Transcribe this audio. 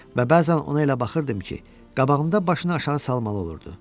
Və bəzən ona elə baxırdım ki, qabağımda başını aşağı salmalı olurdu.